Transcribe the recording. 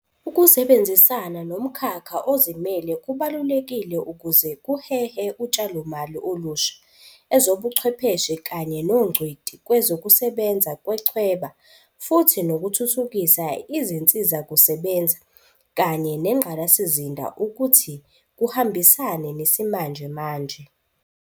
Ukusebenzisana nomkhakha ozimele kubalulekile ukuze kuhehe utshalomali olusha, ezobuchwepheshe kanye nongcweti kwezokusebenza kwechweba futhi nokuthuthukisa izinsizakusebenza kanye nengqalasizinda ukuthi kuhambisane nesimanje manje.